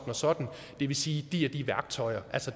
og sådan det vil sige de og de værktøjer